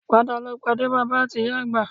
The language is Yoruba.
Padà lọ pàdé bàbá ati ìyá àgbà